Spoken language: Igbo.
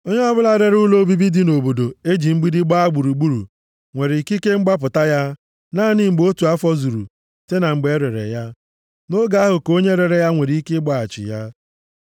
“ ‘Onye ọbụla rere ụlọ obibi dị nʼobodo e ji mgbidi gbaa gburugburu nwere ikike mgbapụta ya naanị mgbe otu afọ zuru site na mgbe e rere ya. Nʼoge ahụ ka onye rere ya nwere ike ịgbaghachi ya.